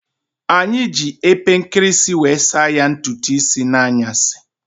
Anyi ji epe nkirisi wee saa ya ntutu isii n'anyasi